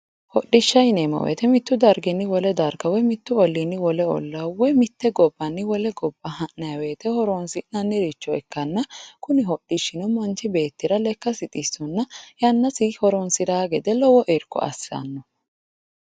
Hodhishsha yineemmo woyiite mittu darginni wole darga woyi mittu olliinni wole ollaa mitte gobbanni wole gobba ha'nayi woyiite horonsi'nanniricho ikkanna kuni hodhishshino manchi beettira lekkasi xissonna yannasi horonsiraa gede lowo irko assanno.